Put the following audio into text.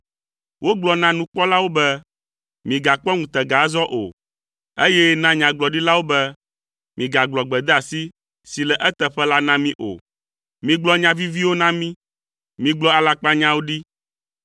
Wogblɔ na nukpɔlawo be, “Migakpɔ ŋutega azɔ o!” eye na nyagblɔɖilawo be, “Migagblɔ gbedeasi si le eteƒe la na mí o. Migblɔ nya viviwo na mí. Migblɔ alakpanyawo ɖi.